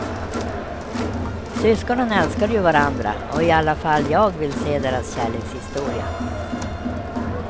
Syskonen älskar ju varandra och i alla fall jag vill se deras kärlekshistoria.